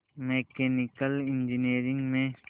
mechanical engineering में